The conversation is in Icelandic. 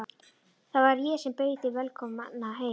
Það var ég sem bauð þig velkomna í heiminn.